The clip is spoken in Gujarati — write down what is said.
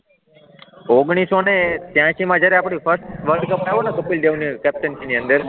ઓગણીસોને તિયાસીમાં જ્યારે આપણો ફર્સ્ટ વર્લ્ડ કપ થયો ને કપિલ દેવ ની કૅપ્ટનશિપની અંદર